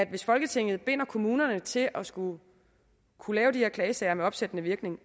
hvis folketinget binder kommunerne til at skulle kunne lave de her klagesager med opsættende virkning